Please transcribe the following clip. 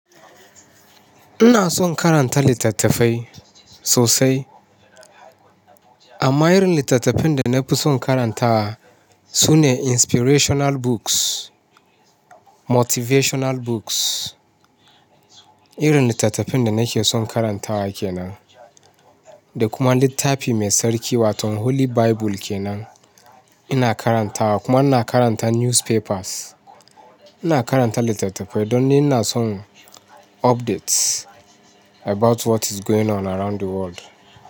Ina son karanta littattafai sosai. Amma irin littattafin da na fi son karantawa su ne inspirational books, motivational books. Irin littattafin da nake son karantawa kenan. Da kuma littafi mai tsarki wato Holy Bible kenan ina karantawa. Kuma ina karanta newspapers. Ina karanta littattafai don ni ina son updates about what is going on around the world.